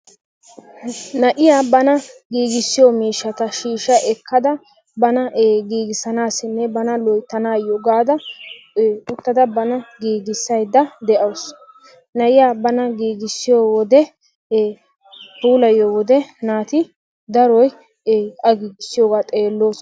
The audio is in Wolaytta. na'iyaa bana giigissiyo miishshata shiishsha ekkada bana giigisanayyonne bana loyttanayyo gaada uttada banaa giiggissaydda de'awus. nayiyaa bana giigissiyo wode puuliyiyyo wode naati daroy a giggissiyooga xeelloosona.